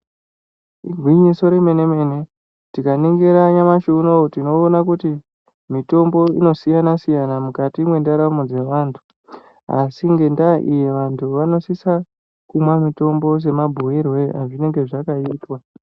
Igwinyiso remene-mene, tikaningira nyamashi unowu tinoona kuti mitombo inosiyana-siyana mwukati mwendaramo dzevantu, Asi ngendaa iyi vantu vanosisa kumwa mitombo semabhuyirwe azvinenge zvakaitwa.